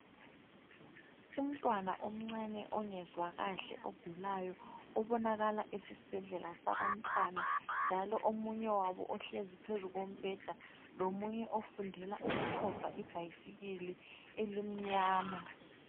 Umntwana omncane ongezwa kahle ogulayo, obonakala esesibhedlela sabantwana, njalo omunye wabo ohlezi phezu kombheda, lomunye ofundela ukutshova ibhayisikili elimnyama.